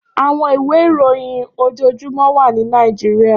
Áwòn iwé iróyin ójójúmò wà ni Nàijiriá